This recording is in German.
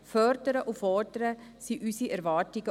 Fördern und fordern sind auch hier unsere Erwartungen.